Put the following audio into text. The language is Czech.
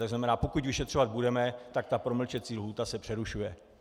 To znamená, pokud vyšetřovat budeme, tak ta promlčecí lhůta se přerušuje.